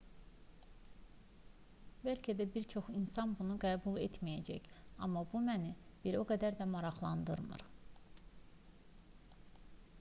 bəlkə də bir çox insan bunu qəbul etməyəcək amma bu məni bir o qədər də maraqlandırmır